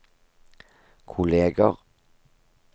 kolleger